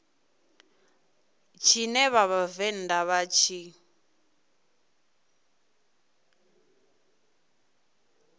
tshine vha vhavenḓa vha tshi